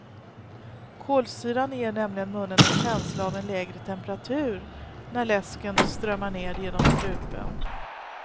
Kolsyran ger nämligen munnen en känsla av en lägre temperatur när läsken strömmar ned genom strupen.